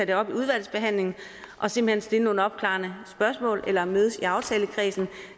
det op i udvalgsbehandlingen og simpelt hen stille nogle opklarende spørgsmål eller mødes i aftalekredsen